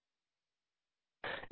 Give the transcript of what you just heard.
2